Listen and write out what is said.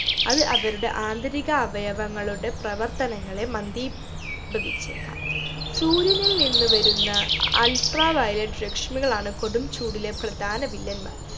അത് അവരുടെ ആന്തരിക അവയവങ്ങളുടെ പ്രവർത്തനങ്ങളെ മന്ദീഭവിച്ചേക്കാം സൂര്യനിൽ നിന്ന് വരുന്ന ultraviolet രശ്മികളാണ് കൊടും ചൂടിലെ പ്രധാന വില്ലന്മാർ